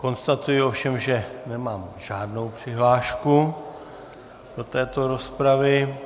Konstatuji ovšem, že nemám žádnou přihlášku do této rozpravy.